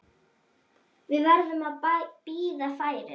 Við verðum að bíða færis.